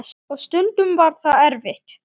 Og stundum var það erfitt.